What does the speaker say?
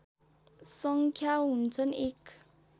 सङ्ख्या हुन्छन् एक